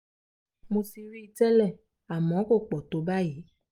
mo ti rí i tẹ́lẹ̀ àmọ́ kò pọ̀ tó báyìí